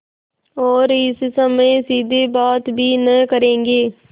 और इस समय सीधे बात भी न करेंगे